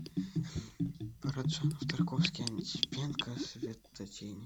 параджанов тарковский антипенко светотени